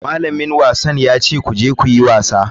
Malamin wasan ya ce ku je ku yi wasa.